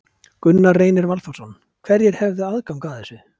Gunnar Reynir Valþórsson: Hverjir hefðu aðgang að þessu?